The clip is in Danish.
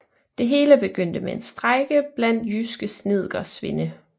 Det hele begyndte med en strejke blandt jyske snedkersvende